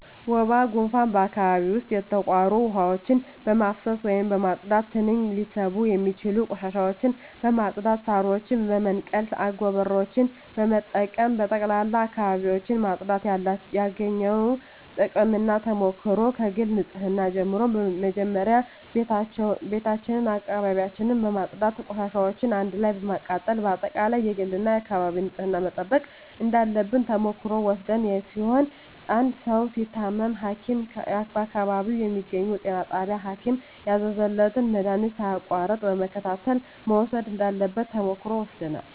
ወባ ጉንፋን በአካባቢው ዉስጥ የተቋሩ ዉሀዎችን በማፋሰስ ወይም በማፅዳት ትንኝ ሊስቡ የሚችሉ ቆሻሻዎችን በማፅዳት ሳሮችን በመንቀል አጎበሮችን በመጠቀም በጠቅላላ አካባቢዎችን ማፅዳት ያገኘነዉ ጥቅምና ተሞክሮ ከግል ንፅህና ጀምሮ መጀመሪያ ቤታችን አካባቢያችን በማፅዳት ቆሻሻዎችን አንድ ላይ በማቃጠል በአጠቃላይ የግልና የአካባቢ ንፅህናን መጠበቅ እንዳለብን ተሞክሮ የወሰድን ሲሆን አንድ ሰዉ ሲታመም ሀኪም በአካባቢው በሚገኘዉ ጤና ጣቢያ ሀኪም ያዘዘለትን መድሀኒት ሳያቋርጥ በመከታተል መዉሰድ እንዳለበት ተሞክሮ ወስደናል